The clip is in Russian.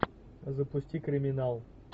запусти криминал